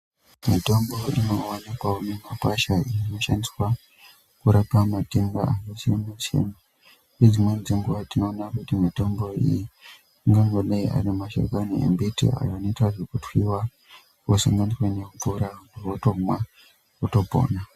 Mitombo inovanikwavo mumakwasha inoshandiswa kurapa matenda akasiyana-siyana. Nedzimweni dzenguva tinoona kuti mitombo iyi angangodai ari mashakani embiti, aya anoitwa zvekutwiwa osanganiswa ngemvura votomwa votopona.